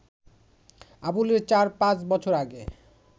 আবুলের চার-পাঁচ বছর আগে